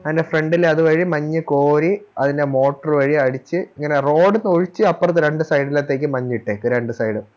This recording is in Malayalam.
അതിൻറെ Front ല് അത് വഴി മഞ്ഞ് കോരി അതിൻറെ Motor വഴി അടിച്ച് ഇങ്ങനെ Road ഒഴിച്ച് അപ്പർത്തേ രണ്ട് Side ലത്തേക്ക് മഞ്ഞ് ഇട്ടേക്കുവാ രണ്ട് Side